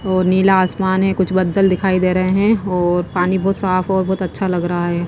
और नीला आसमान है। कुछ बादल दिखाई दे रहे हैं और पानी बहोत साफ और बहोत अच्छा लग रहा है।